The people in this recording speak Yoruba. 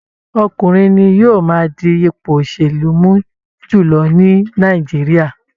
Ọkùnrin ni yóò máa di ipò òsèlú mú jùlọ ní Nàìjíríà